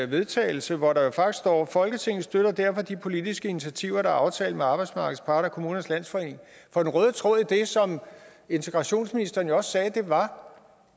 vedtagelse hvor der faktisk står folketinget støtter derfor de politiske initiativer der er aftalt med arbejdsmarkedets parter og kommunernes landsforening for den røde tråd i det som integrationsministeren jo også sagde var